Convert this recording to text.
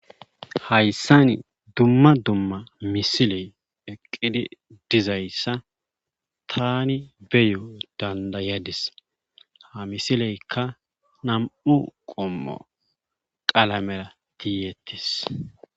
Hayssani dumma dumma misiley eqqidi dizayssa tani beyo dandayadis ha misileykka nam'u qommo qalamera tiyettis.